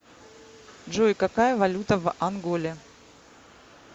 джой какая валюта в анголе